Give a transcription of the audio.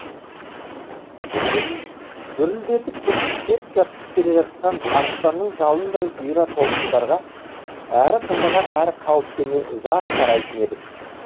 гүрілдетіп гүрсілдеп келе жатқан арыстанның жалындай бұйра толқындарға әрі қызыға әрі қауіптене ұзақ қарайтын едік